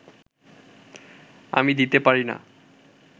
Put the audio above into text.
আমি দিতে পারি না